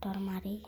tolmarei.